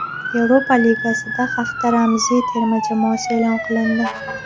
Yevropa Ligasida hafta ramziy terma jamoasi e’lon qilindi.